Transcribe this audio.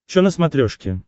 че на смотрешке